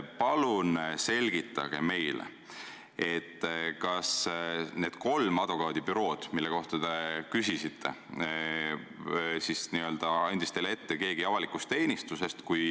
Palun selgitage meile, kas need kolm advokaadibürood, mille kohta te küsisite, andis teile ette keegi avalikust teenistusest.